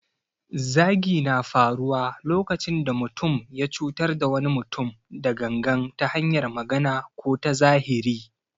Zagi na faruwa lokacin da mutum ya cutar da wani mutum da gangan ta hanyar magana ko ta zahiri.